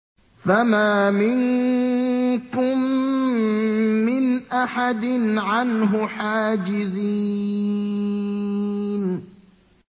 فَمَا مِنكُم مِّنْ أَحَدٍ عَنْهُ حَاجِزِينَ